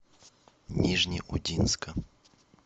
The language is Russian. нижнеудинска